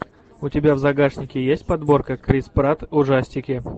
у тебя в загашнике есть подборка крис пратт ужастики